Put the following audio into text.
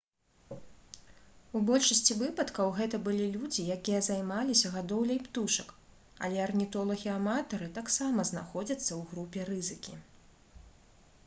у большасці выпадкаў гэта былі людзі якія займаліся гадоўляй птушак але арнітолагі-аматары таксама знаходзяцца ў групе рызыкі